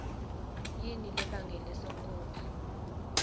yini lebangele sonkondlo